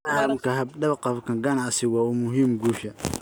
Fahamka hab-dhaqanka ganacsigu waa u muhiim guusha.